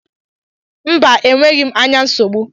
Mba, e nweghị m anya nsogbụ